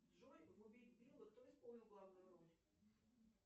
джой в убить билла кто исполнил главную роль